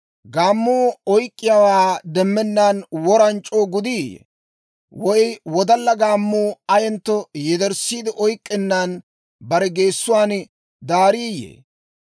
Gaammuu oyk'k'iyaawaa demmennaan woran c'oo gudiiyye? Woy wodalla gaammuu ayentto yederssiide oyk'k'ennan bare geessuwaan daariiyye?